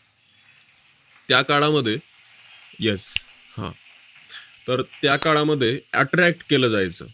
त्या काळामध्ये yes हा, तर त्या काळामध्ये attract केलं जायचं